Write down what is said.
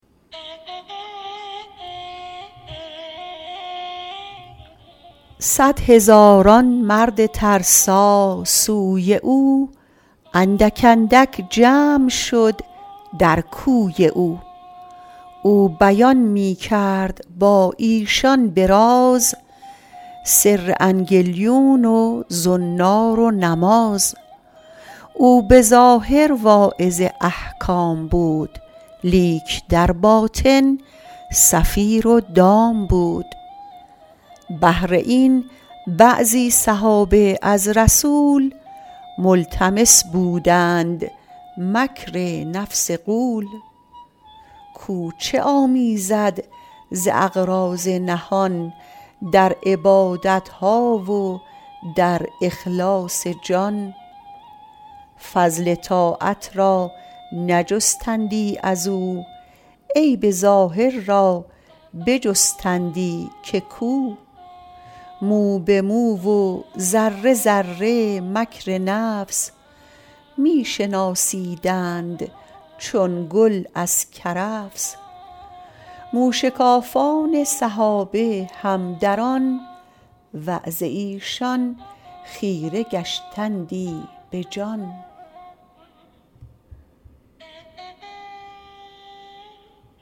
صد هزاران مرد ترسا سوی او اندک اندک جمع شد در کوی او او بیان می کرد با ایشان به راز سر انگلیون و زنار و نماز او به ظاهر واعظ احکام بود لیک در باطن صفیر و دام بود بهر این بعضی صحابه از رسول ملتمس بودند مکر نفس غول کو چه آمیزد ز اغراض نهان در عبادتها و در اخلاص جان فضل طاعت را نجستندی ازو عیب ظاهر را بجستندی که کو مو به مو و ذره ذره مکر نفس می شناسیدند چون گل از کرفس موشکافان صحابه هم در آن وعظ ایشان خیره گشتندی بجان